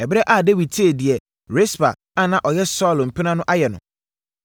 Ɛberɛ a Dawid tee deɛ Rispa a na ɔyɛ Saulo mpena no ayɛ no,